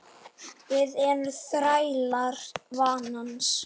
Við erum þrælar vanans.